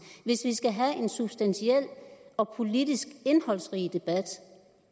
hvis vi skal have en substantiel og politisk indholdsrig debat